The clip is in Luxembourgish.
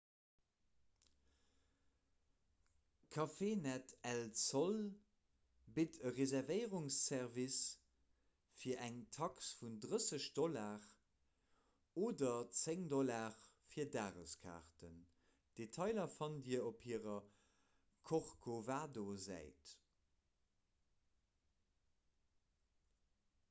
cafenet el sol bitt e reservéierungsservice fir eng tax vun 30 $ oder 10 $ fir dageskaarten; detailer fannt dir op hirer corcovado-säit